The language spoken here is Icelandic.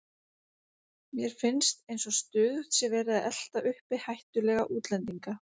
Mér finnst eins og stöðugt sé verið að elta uppi hættulega útlendinga.